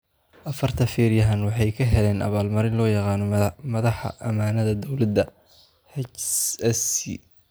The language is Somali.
Afarta feedhyahan waxa ay heleen abaal-marin loo yaqaan Madaxa Ammaanadda Dawladda (HSC).